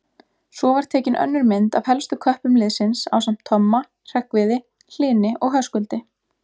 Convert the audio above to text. Svo var tekin önnur mynd af helstu köppum liðsins ásamt Tomma, Hreggviði, Hlyni og Höskuldi.